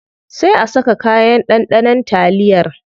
Sai a saka kayan ɗanɗanon taliyar.